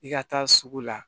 I ka taa sugu la